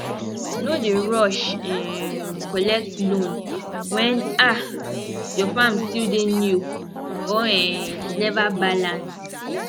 no dey rush um collect loan when um your farm still dey new or um never balance